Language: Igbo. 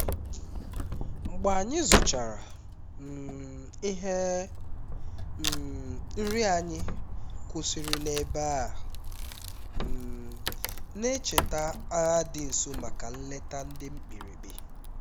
mgbe anyị zụchara um ihe um nri anyị kwụsịrị n'ebe a um na-echeta agha dị nso maka nleta dị mkpirikpi